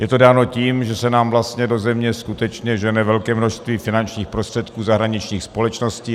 Je to dáno tím, že se nám vlastně do země skutečně žene velké množství finančních prostředků zahraničních společností.